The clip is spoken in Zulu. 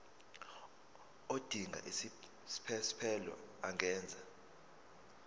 odinga isiphesphelo angenza